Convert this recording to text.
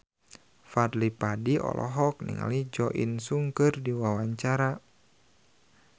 Fadly Padi olohok ningali Jo In Sung keur diwawancara